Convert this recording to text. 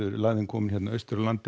lægðin komin austan af landinu